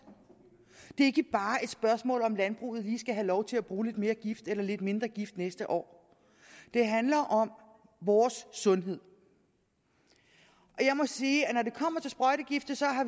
det er ikke bare et spørgsmål om om landbruget lige skal have lov til at bruge lidt mere gift eller lidt mindre gift næste år det handler om vores sundhed jeg må sige at